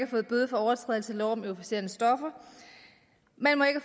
fået bøde for overtrædelse af lov om euforiserende stoffer man må ikke